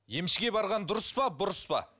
емшіге барған дұрыс па бұрыс па